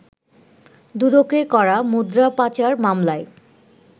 দুদকের করা মুদ্রা পাচার মামলায়